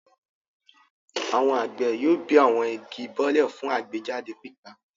Àwọn àgbẹ̀ yóò bẹ́ àwọn igi bọ́lẹ̀ fún àgbéjáde pépà.